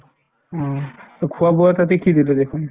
অ, to খোৱা-বোৱা তাতে কি দিলে দেখুন